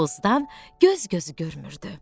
Tozdan göz-gözü görmürdü.